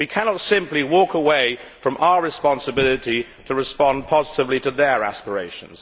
we cannot simply walk away from our responsibility to respond positively to their aspirations.